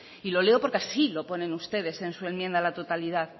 y lo leo porque así lo ponen ustedes en su enmienda a la totalidad